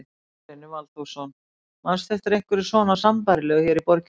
Gunnar Reynir Valþórsson: Manstu eftir einhverju svona sambærilegu hér í borginni?